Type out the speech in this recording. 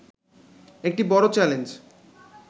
একটি বড় চ্যালেঞ্জ